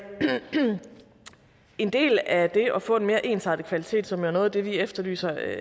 en del af det at få en mere ensartet kvalitet som er noget af det vi efterlyser